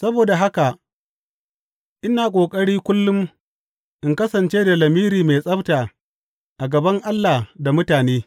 Saboda haka, ina ƙoƙari kullum in kasance da lamiri mai tsabta a gaban Allah da mutane.